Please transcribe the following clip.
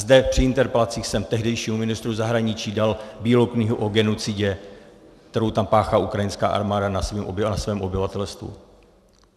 Zde při interpelacích jsem tehdejšímu ministru zahraničí dal Bílou knihu o genocidě, kterou tam páchá ukrajinská armáda na svém obyvatelstvu.